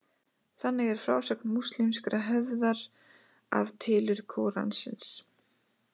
Þannig er frásögn múslímskrar hefðar af tilurð Kóransins.